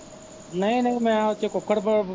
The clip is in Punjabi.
ਨਹੀ ਨਹੀ ਮੈਂ ਓਦੇ ਚ ਕੁੱਕੜ ਬੋ।